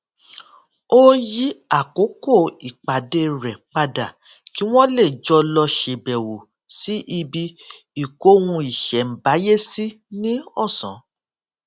ó yí àkókò ìpàdé rè padà kí wón lè jọ lọ ṣèbèwò sí ibi ìkóhunìṣèǹbáyésí ní òsán